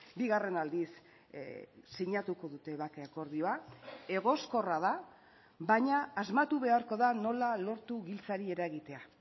bigarren aldiz sinatuko dute bake akordioa egoskorra da baina asmatu beharko da nola lortu giltzari eragitea